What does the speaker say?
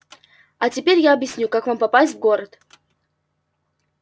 а теперь я объясню как вам попасть в город